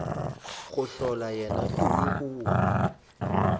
go hlola yena tumi kua